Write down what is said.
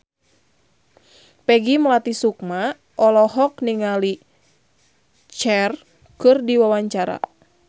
Peggy Melati Sukma olohok ningali Cher keur diwawancara